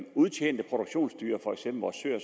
udtjente produktionsdyr for eksempel vores søer